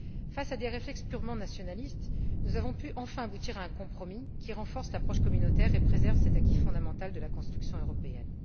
Face à des réflexes purement nationalistes, nous avons pu enfin aboutir à un compromis qui renforce l'approche communautaire et préserve cet acquis fondamental de la construction européenne.